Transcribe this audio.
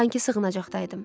Sankı sığınacaqda idim.